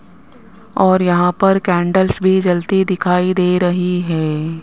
और यहां पर कैंडल्स भी जलती दिखाई दे रही है।